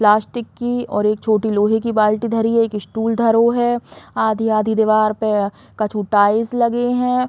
पलास्टिक की और एक छोटी लोहे की बाल्टी धरी है। एक स्टूल धरो है। आधी-आधी दीवार पे कछु टाइल्स लगे हैं।